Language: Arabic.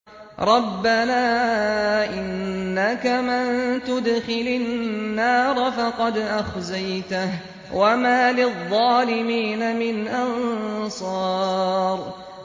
رَبَّنَا إِنَّكَ مَن تُدْخِلِ النَّارَ فَقَدْ أَخْزَيْتَهُ ۖ وَمَا لِلظَّالِمِينَ مِنْ أَنصَارٍ